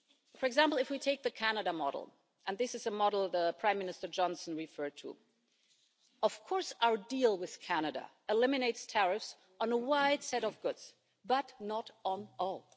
For example, if we take the Canada model and this is a model Prime Minister Johnson referred to of course, our deal with Canada eliminates tariffs on a wide set of goods, but not on all.